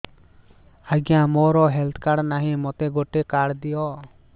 ଆଜ୍ଞା ମୋର health card ନାହିଁ ମୋତେ ଗୋଟେ କାର୍ଡ ଦିଅ